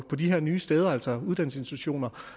på de her nye steder altså uddannelsesinstitutioner